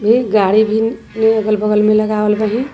एक गाड़ी भीन ए अगल बगल में लगावल बाहिन।